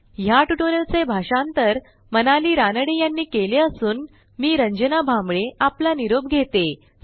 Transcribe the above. ह्या ट्युटोरियलचे भाषांतर मनाली रानडे यांनी केले असून मी रंजना भांबळे आपला निरोप घेते160